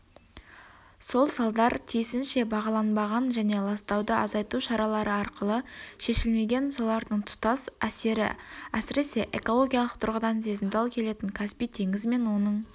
сол салдар тиісінше бағаланбаған және ластауды азайту шаралары арқылы шешілмеген солардың тұтас сері әсіресе экологиялық тұрғыдан сезімтал келетін каспий теңізі мен оның